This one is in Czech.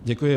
Děkuji.